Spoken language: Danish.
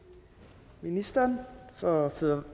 ministeren for